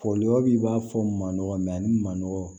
Folibabi b'a fɔ manɔgɔ ani manɔgɔ